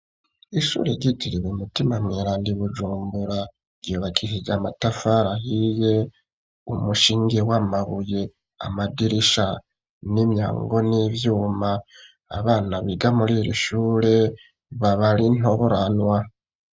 Ishure ryitiriwe umutima mweranda Ibujumbura ryubakishije amatafari ahiye umushenge w'amabuye amadirisha n'imyango n'ivyuma abana biga muriri shure baba ari ntoranwa